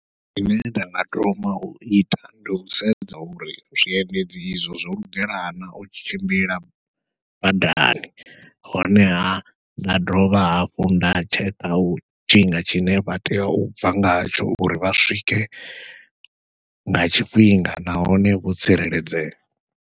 Zwine nda nga thoma uita ndi u sedza uri zwiendedzi izwo zwo lugela na u tshimbila badani, honeha nda dovha hafhu nda tsheka tshifhinga tshine vha tea u bva ngatsho uri vha swike nga tshifhinga nahone vho tsireledzea.